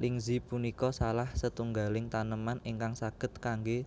Lingzhi punika salah setunggaling taneman ingkang saged kanggé